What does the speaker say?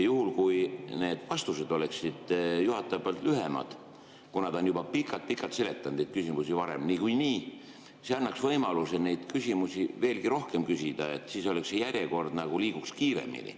Juhul kui need vastused oleksid juhatajal lühemad, kuna ta on juba pikalt-pikalt neid küsimusi varem niikuinii seletanud, siis see annaks võimaluse küsimusi veelgi rohkem küsida ja see järjekord nagu liiguks kiiremini.